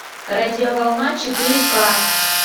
радиоволна четыре ка